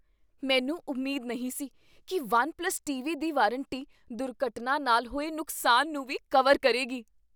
ਮੈਨੂੰ ਉਮੀਦ ਨਹੀਂ ਸੀ ਕੀ ਵਨ ਪਲੱਸ ਟੀਵੀ ਦੀ ਵਾਰੰਟੀ ਦੁਰਘਟਨਾ ਨਾਲ ਹੋਏ ਨੁਕਸਾਨ ਨੂੰ ਵੀ ਕਵਰ ਕਰੇਗੀ